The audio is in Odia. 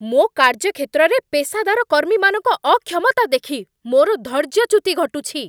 ମୋ କାର୍ଯ୍ୟକ୍ଷେତ୍ରରେ ପେସାଦର କର୍ମୀମାନଙ୍କ ଅକ୍ଷମତା ଦେଖି ମୋର ଧୈର୍ଯ୍ୟଚ୍ୟୁତି ଘଟୁଛି।